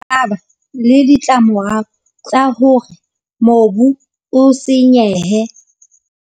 A ba le ditlamorao tsa hore mobu o senyehe.